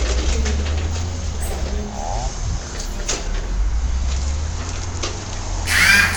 Dhibaatooyinka dhaqaale waxay saameyn karaan dhaqashada shinnida.